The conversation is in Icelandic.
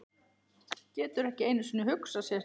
Getur ekki einu sinni hugsað sér það.